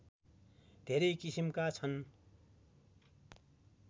धेरै किसिमका छन्